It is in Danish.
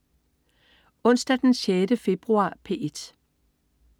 Onsdag den 6. februar - P1: